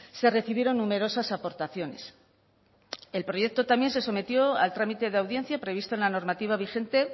se recibieron numerosas aportaciones el proyecto también se sometió al trámite de audiencia previsto en la normativa vigente